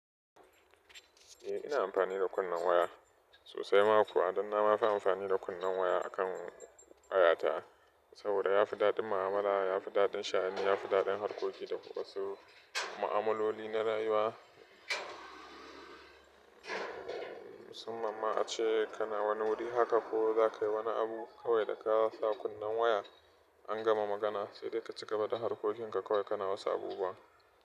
Eh ina amfani da kunnen waya sosai. Ma kwa ɗon na ma fi amfani da kunnen waya akan waya ta saboda yafi daɗin mu'amala, yafi daɗin shani, yafi daɗin harkoki da wasu ma'amaloli na rayuwa. Musamman ma ace kana wani wuri haka ko za kayi wani abu kawai da ka sa kunnen waya an gama magana sai dai ka cigaba da harkokinka kawai kana wasu abubuwa.